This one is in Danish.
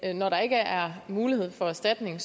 når der ikke er mulighed for erstatning